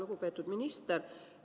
Lugupeetud minister!